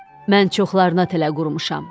Mən çoxlarına tələ qurmuşam.